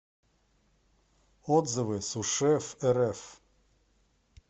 отзывы сушефрф